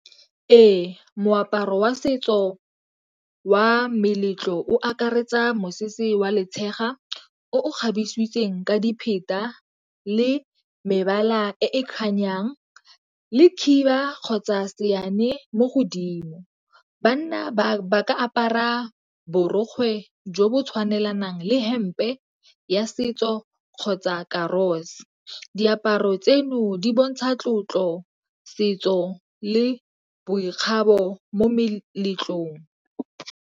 Ee, moaparo wa setso wa meletlo o akaretsa mosese wa letshega o o kgabisitsweng ka dipheta le mebala e kganyang le khiba kgotsa seane mo godimo. Banna ba ba ka apara borokgwe jo bo tshwanelang le hempe ya setso o kgotsa . Diaparo tseno di bontsha tlotlo, setso le boikgabo mo meletlong.